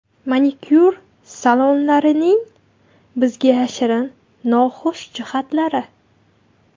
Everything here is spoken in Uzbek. Manikyur salonlarining bizga yashirin noxush jihatlari.